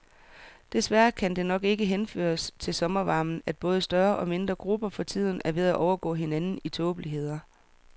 Desværre kan det nok ikke henføres til sommervarmen, at både større og mindre grupper for tiden er ved at overgå hinanden i tåbeligheder.